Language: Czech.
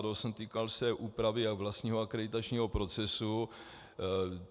Týkal se úpravy a vlastního akreditačního procesu.